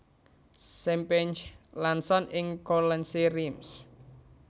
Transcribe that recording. Sampanye Lanson ing Courlancy Reims